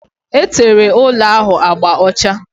Etere ụlọ ahụ agba ọcha